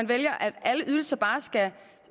vælger at alle ydelser bare skal